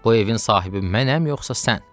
Bu evin sahibi mənəm, yoxsa sən?